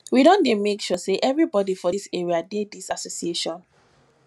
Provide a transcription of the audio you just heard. we don make sure sey everybodi for dis area dey dis association